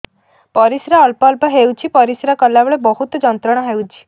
ପରିଶ୍ରା ଅଳ୍ପ ଅଳ୍ପ ହେଉଛି ପରିଶ୍ରା କଲା ବେଳେ ବହୁତ ଯନ୍ତ୍ରଣା ହେଉଛି